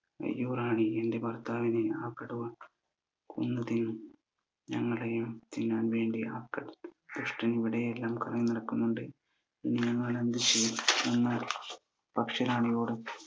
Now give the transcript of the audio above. റാണി എന്റെ ഭർത്താവിനെ ആ കടുവ കൊന്നു തിന്നു ഞങ്ങളെയും തിന്നാൻ വേണ്ടി ആ ദുഷ്ടൻ ഇവിടെ എല്ലാം കറങ്ങി നടക്കുന്നുണ്ട് ഞങ്ങൾ എന്ത് ചെയ്യും